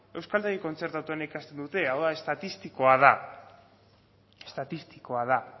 euskaltegi kontzertatuan ikasten dute hau da estatistikoa da estatistikoa da